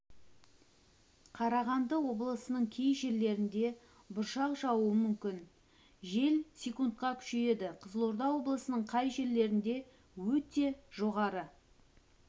қарағанды облысының кей жерлерінде бұршақ жаууы мүмкін жел с-қа күшейеді қызылорда облысының кей жерлерінде өте жоғары